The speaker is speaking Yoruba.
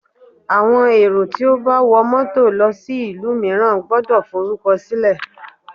Àwọn èrò tí ó bá wọ mọ́tọ̀ lọ sí ìlú mìíràn gbọ́dọ̀ forúkọ sílẹ̀.